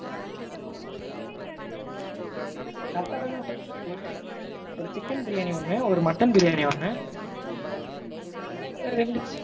correct டா தான mam ஒரு chicken பிரியானி ஒன்னு, ஒரு mutton பிரியானி ஒன்னு, அப்பறம் ரெண்டு chicken